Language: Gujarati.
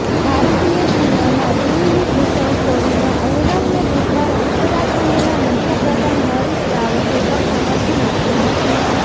ભારતીય સીમામાં ચીનની ઘૂસણખોરીના અહેવાલને બુધવારે ઉત્તરાખંડના મુખ્ય પ્રધાન હરીશ રાવતે પણ સમર્થન આપ્યું હતું